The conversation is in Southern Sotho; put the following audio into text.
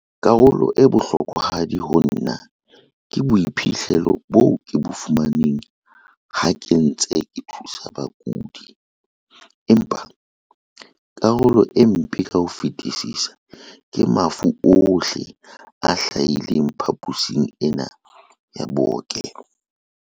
"Karolo e bohlokwahadi ho nna ke boiphihlelo bo ke bo fumaneng ha ke ntse ke thusa bakudi, empa karolo e mpe ka ho fetisisa ke mafu ohle a hlahileng phaposing ena ya bookelo."